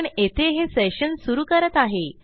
पण येथे हे सेशन सुरू करत आहे